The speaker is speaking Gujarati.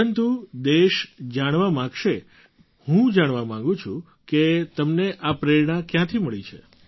પરંતુ દેશ જાણવા માગશે હું જાણવા માગું છું કે તમને આ પ્રેરણા ક્યાંથી મળે છે